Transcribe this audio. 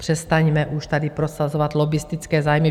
Přestaňme už tady prosazovat lobbistické zájmy.